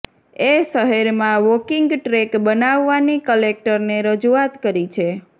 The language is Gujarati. એ શહેરમાં વોકીંગ ટ્રેક બનાવવાની કલેકટરને રજુઆત કરી છે